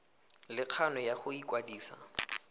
le kgano ya go ikwadisa